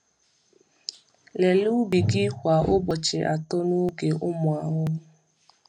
Lelee ubi gị kwa ụbọchị atọ n’oge ụmụ ahụhụ.